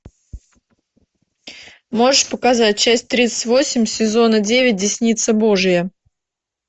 можешь показать часть тридцать восемь сезона девять десница божья